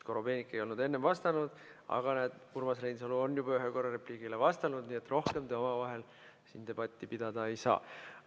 Korobeinik ei olnud enne vastanud, aga näed, Urmas Reinsalu on juba ühe korra repliigile vastanud, nii et rohkem te omavahel siin debatti pidada ei saa.